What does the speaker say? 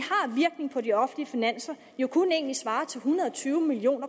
har på de offentlige finanser jo kun svare til en hundrede og tyve million